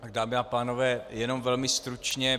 Dámy a pánové, jenom velmi stručně.